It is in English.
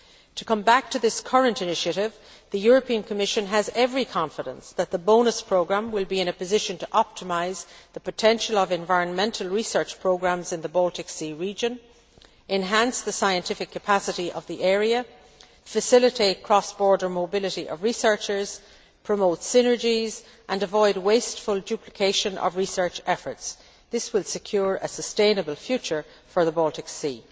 To come back to this current initiative, the European Commission has every confidence that the BONUS programme will be in a position to optimise the potential of environmental research programmes in the Baltic Sea region, enhance the scientific capacity of the area, facilitate cross border mobility of researchers, promote synergies and avoid wasteful duplication of research efforts. This will secure a sustainable future for the Baltic Sea.